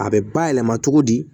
A bɛ bayɛlɛma cogo di